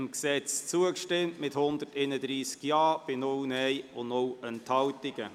Sie haben dem Gesetz zugestimmt mit 131 Ja- bei 0 Nein-Stimmen und 0 Enthaltungen.